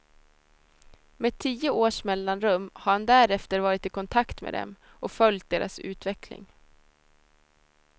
Med tio års mellanrum har han därefter varit i kontakt med dem och följt deras utveckling.